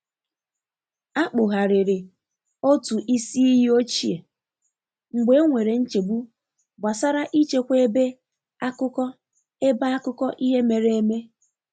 A kpugharịrị otụ isi iyi ochie mgbe e nwere nchegbu gbasara i chekwa ebe akụkọ ebe akụkọ ihe mere eme.